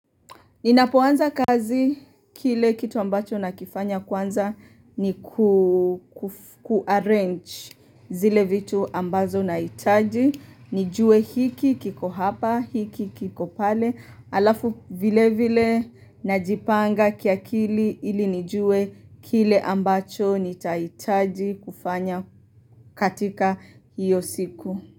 Ninapoanza kazi kile kitu ambacho nakifanya kwanza ni ku ku arrange zile vitu ambazo nahitaji nijue hiki kiko hapa, hiki kiko pale, alafu vile vile najipanga kiakili ili nijue kile ambacho nitaitaji kufanya katika hiyo siku.